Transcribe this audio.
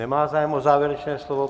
Nemá zájem o závěrečné slovo.